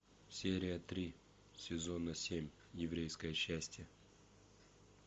серия три сезона семь еврейское счастье